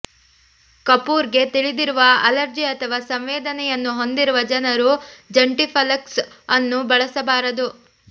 ಕಪೂರ್ಗೆ ತಿಳಿದಿರುವ ಅಲರ್ಜಿ ಅಥವಾ ಸಂವೇದನೆಯನ್ನು ಹೊಂದಿರುವ ಜನರು ಜಂಟಿಫಲೆಕ್ಸ್ ಅನ್ನು ಬಳಸಬಾರದು